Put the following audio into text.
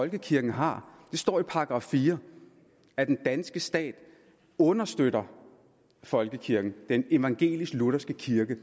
folkekirken har det står i § fire at den danske stat understøtter folkekirken den evangelisk lutherske kirke